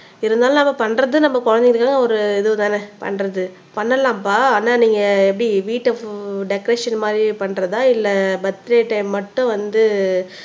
இருந்தாலும் நம்ம பண்றது நம்ம குழந்தைங்களுக்கு எல்லாம் ஒரு இதுதானே பண்றது பண்ணலாம்ப்பா ஆனா நீங்க எப்படி வீட்ட டெகரேஷன் மாதிரி பண்றதா இல்லை பர்த்டே டைம் மட்டும் வந்து